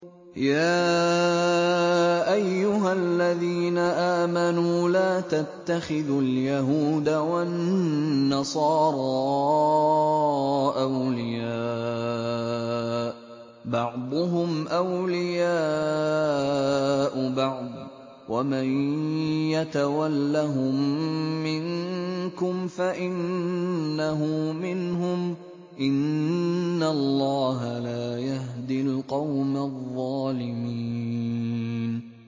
۞ يَا أَيُّهَا الَّذِينَ آمَنُوا لَا تَتَّخِذُوا الْيَهُودَ وَالنَّصَارَىٰ أَوْلِيَاءَ ۘ بَعْضُهُمْ أَوْلِيَاءُ بَعْضٍ ۚ وَمَن يَتَوَلَّهُم مِّنكُمْ فَإِنَّهُ مِنْهُمْ ۗ إِنَّ اللَّهَ لَا يَهْدِي الْقَوْمَ الظَّالِمِينَ